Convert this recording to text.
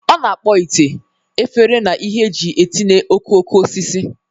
Ọ na-akpọ ite, efere, na ihe e ji etinye okoko osisi.